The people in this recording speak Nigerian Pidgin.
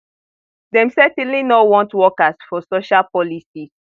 dem certainly no want wokers for social policies